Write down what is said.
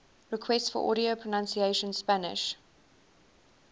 requests for audio pronunciation spanish